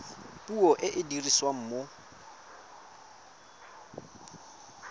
puo e e dirisiwang mo